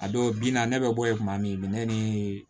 A dɔw bi na ne bɛ bɔ yen kuma min bɛ ne ni